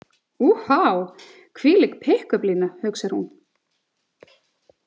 Úhá, hvílík pikkupplína, hugsar hún.